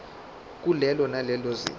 kulelo nalelo zinga